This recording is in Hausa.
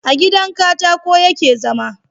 a gidan katako ya ke zama